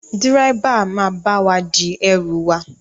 Dírẹ́bà máa bá wa di ẹrù wà.